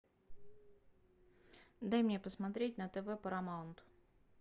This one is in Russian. дай мне посмотреть на тв парамаунт